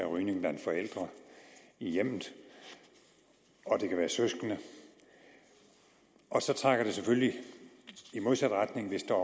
rygning blandt forældre i hjemmet og det kan være søskende og så trækker det selvfølgelig i modsat retning hvis der